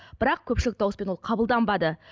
бірақ көпшілік дауыспен ол қабылданбады